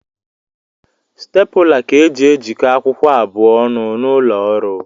Stapụla ka e ji ejiko akwụkwọ abụọ ọnụ n’ụlọọrụ